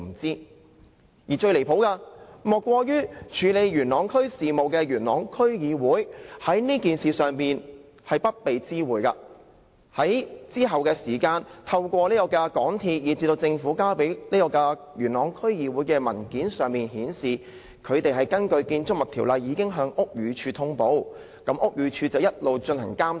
最離譜的，莫過於處理元朗區事務的區議會，在這件事上不被知會，而要在之後透過港鐵公司，以至政府向元朗區議會提交的文件，才知道港鐵公司已根據《建築物條例》向屋宇署通報，而屋宇署亦一直進行監察。